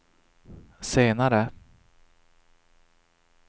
senare